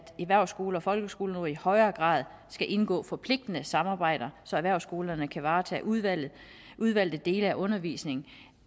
erhvervsskoler og folkeskoler nu i højere grad skal indgå forpligtende samarbejder så erhvervsskolerne kan varetage udvalgte udvalgte dele af undervisningen